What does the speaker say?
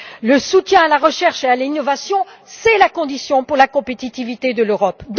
Le soutien à la recherche et à l'innovation est essentiel à la compétitivité de l'Europe.